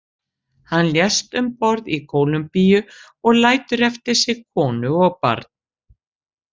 Hann lést um borð í Kólumbíu og lætur eftir sig konu og barn.